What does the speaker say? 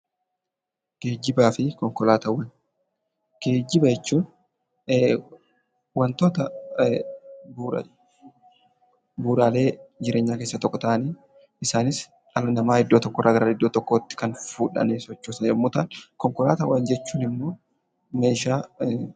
Geejjibaa fi konkolaataawwan. Geejiba jechuun wantoota bu'uura bu'uuraalee jireenyaa keessaa tokko ta'anii isaanis dhala namaa iddoo tokkorraa gara iddoo tokkootti kan fuudhanii sochoosan yeroo ta'an konkolaataawwan jechuun ammoo meeshaa